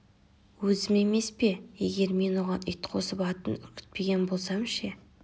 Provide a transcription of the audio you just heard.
өзім емес пе егер мен оған ит қосып атын үркітпеген болсам ше